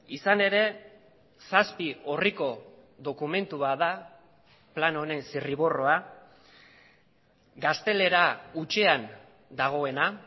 izan ere zazpi orriko dokumentu bat da plan honen zirriborroa gaztelera hutsean dagoena